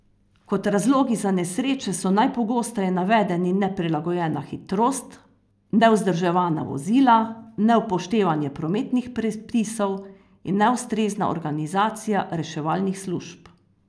Kot razlogi za nesreče so najpogosteje navedeni neprilagojena hitrost, nevzdrževana vozila, neupoštevanje prometnih predpisov in neustrezna organizacija reševalnih služb.